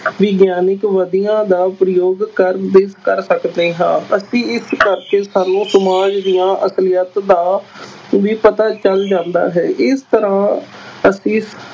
ਵਿਗਿਆਨਿਕ ਵਿਧੀਆਂ ਦਾ ਪ੍ਰਯੋਗ ਕਰਦੇ, ਕਰ ਸਕਦੇ ਹਾਂ, ਅਸੀਂ ਇਸ ਕਰਕੇ ਸਾਨੂੰ ਸਮਾਜ ਦੀ ਅਸਲੀਅਤ ਦਾ ਵੀ ਪਤਾ ਚੱਲ ਜਾਂਦਾ ਹੈ, ਇਸ ਤਰ੍ਹਾਂ ਅਸੀਂ